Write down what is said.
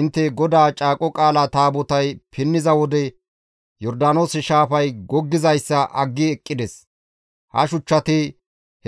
intte, ‹GODAA Caaqo Qaalaa Taabotay pinniza wode Yordaanoose shaafay goggizayssa aggi eqqides; ha shuchchati